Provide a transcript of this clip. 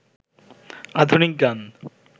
আধুনিক গান